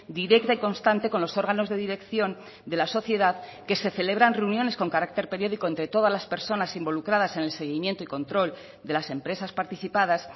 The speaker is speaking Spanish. directa y constante con los órganos de dirección de la sociedad que se celebran reuniones con carácter periódico entre todas las personas involucradas en el seguimiento y control de las empresas participadas